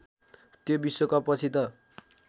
त्यो विश्वकपपछि त